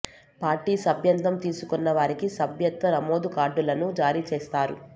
party సభ్యత్వం తీసుకొన్న వారికి సభ్యత్వ నమోదు కార్డులను జారీ చేస్తారు